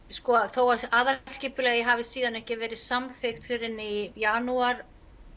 þó að aðalskipulagið hafi ekki verið samþykkt fyrr en í janúar